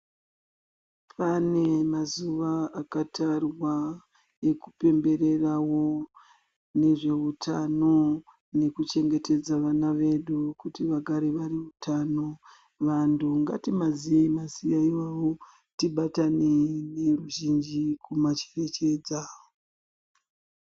Pane mazuwa akatarwa ekupembererawo nezveutano nekuchengetedza vana vedu kuti vagare vane utano. Vantu ngatimaziyei mazuwa iwayo tibatane neruzhinji kumacherechedza.